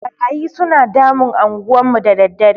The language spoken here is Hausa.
Ɓarayi suna damun anguwan mu da daddare.